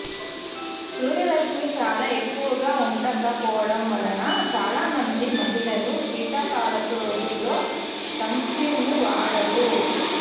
సూర్యరశ్మి చాలా ఎక్కువగా ఉండక పోవడం వలన చాలామంది మహిళలు శీతాకాలపు రోజులలో సన్స్క్రీన్ను వాడరు